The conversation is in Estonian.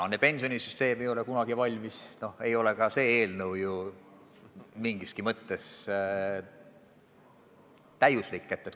Nii nagu pensionisüsteem ei ole kunagi valmis, ei ole ka see eelnõu mingiski mõttes täiuslik.